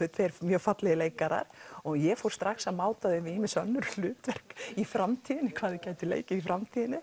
þau eru mjög fallegir leikarar og ég fór strax að máta þau við önnur hlutverk í framtíðinni hvað þau gætu leikið í framtíðinni